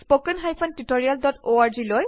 এইখন spoken tutorial project team